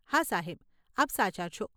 હા સાહેબ, આપ સાચા છો.